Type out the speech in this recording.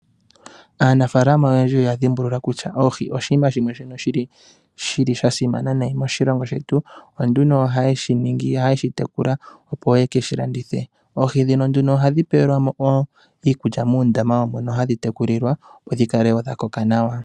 Aanafalama oyendji oya dhimbulula kutya oohi oshinima shimwe shono shili shasimana nayi moshilongo shetu .Opo nduno ohaye dhi tekula opo ye kedhi landithe. Oohi dhino nduno ohadhi ohadhi pelwa mo iikulya mundama wawo hadhi tekulilwa opo dhi kale woo dhakoka nawa .